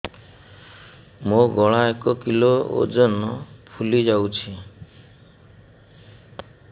ମୋ ଗଳା ଏକ କିଲୋ ଓଜନ ଫୁଲି ଯାଉଛି